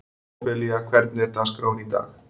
Ófelía, hvernig er dagskráin í dag?